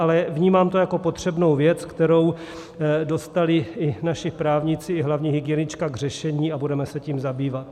Ale vnímám to jako potřebnou věc, kterou dostali i naši právníci, i hlavní hygienička k řešení, a budeme se tím zabývat.